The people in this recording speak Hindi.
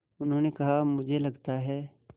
उन्होंने कहा मुझे लगता है